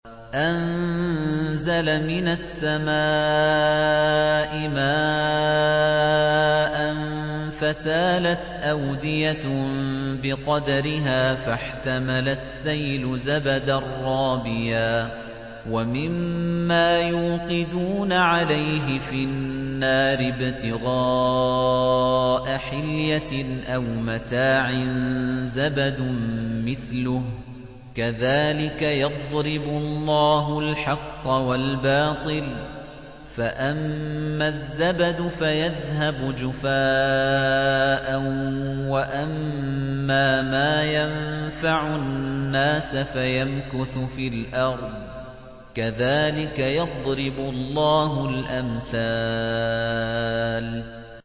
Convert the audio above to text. أَنزَلَ مِنَ السَّمَاءِ مَاءً فَسَالَتْ أَوْدِيَةٌ بِقَدَرِهَا فَاحْتَمَلَ السَّيْلُ زَبَدًا رَّابِيًا ۚ وَمِمَّا يُوقِدُونَ عَلَيْهِ فِي النَّارِ ابْتِغَاءَ حِلْيَةٍ أَوْ مَتَاعٍ زَبَدٌ مِّثْلُهُ ۚ كَذَٰلِكَ يَضْرِبُ اللَّهُ الْحَقَّ وَالْبَاطِلَ ۚ فَأَمَّا الزَّبَدُ فَيَذْهَبُ جُفَاءً ۖ وَأَمَّا مَا يَنفَعُ النَّاسَ فَيَمْكُثُ فِي الْأَرْضِ ۚ كَذَٰلِكَ يَضْرِبُ اللَّهُ الْأَمْثَالَ